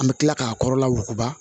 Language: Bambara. An bɛ tila k'a kɔrɔla wuguba